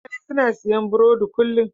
Mutane suna siyan burodi kullum.